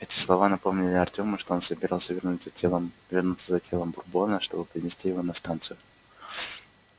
эти слова напомнили артему что он собирался вернуться за телом бурбона чтобы принести его на станцию